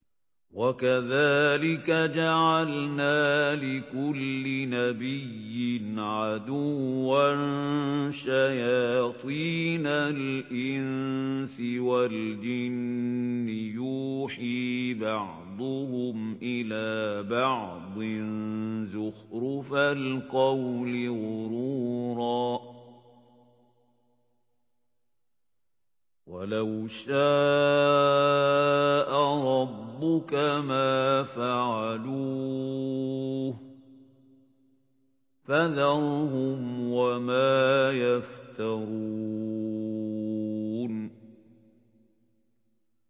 وَكَذَٰلِكَ جَعَلْنَا لِكُلِّ نَبِيٍّ عَدُوًّا شَيَاطِينَ الْإِنسِ وَالْجِنِّ يُوحِي بَعْضُهُمْ إِلَىٰ بَعْضٍ زُخْرُفَ الْقَوْلِ غُرُورًا ۚ وَلَوْ شَاءَ رَبُّكَ مَا فَعَلُوهُ ۖ فَذَرْهُمْ وَمَا يَفْتَرُونَ